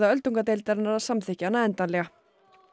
öldungadeildarinnar að samþykkja hana endanlega